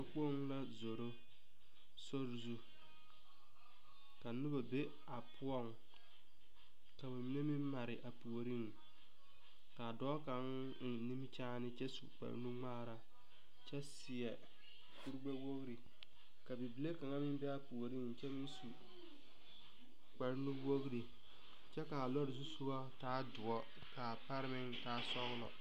kpoŋ la zoro sori zu ka noba be a poɔ ka ba mine meŋ mare a puoriŋ ka dɔɔ kaŋ eŋ nimie kyene kyɛ suu kpaanuŋmaare kyɛ seɛkpaanu woŋere ka bibili kaŋ meŋ be a puoriŋ kyɛ kaa lɔɔre zu sogo meŋ taa duori